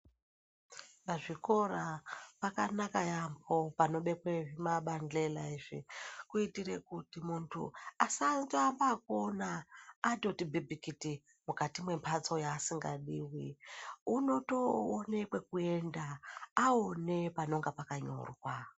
Pazvikora pakanaka yambo panobekwa zvimabanhlela izvi kuitira kuti muntu asaambe ekuona ati pimbikiti mukati membatso yasingadi unoyoona kwekuenda aona panenge pakanyorwa.